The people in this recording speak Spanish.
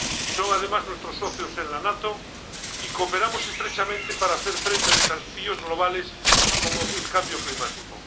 Son, además, nuestros socios en la OTAN y cooperamos estrechamente para hacer frente a desafíos globales como el cambio climático.